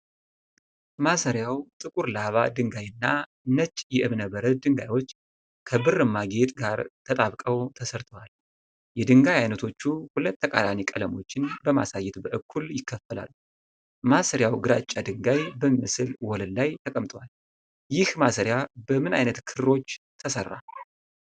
ማሰሪያው ጥቁር ላቫ ድንጋይ እና ነጭ የእብነ በረድ ድንጋዮች ከብርማ ጌጥ ጋር ተጣብቀው ተሰርተዋል። የድንጋይ አይነቶቹ ሁለት ተቃራኒ ቀለሞችን በማሳየት በእኩል ይከፈላሉ። ማሰሪያው ግራጫ ድንጋይ በሚመስል ወለል ላይ ተቀምጧል። ይህ ማሰሪያ በምን አይነት ክሮች ተሰራ?